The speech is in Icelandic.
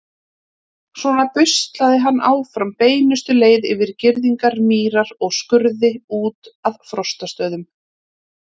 Svona buslaði hann áfram beinustu leið yfir girðingar, mýrar og skurði út að Frostastöðum.